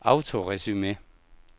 autoresume